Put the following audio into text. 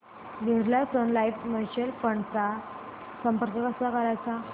Birla Sun Life mutual fund ला संपर्क कसा करायचा